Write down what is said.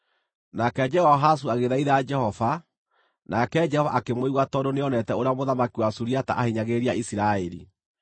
Nake Jehoahazu agĩthaitha Jehova, nake Jehova akĩmũigua tondũ nĩonete ũrĩa mũthamaki wa Suriata aahinyagĩrĩria Isiraeli.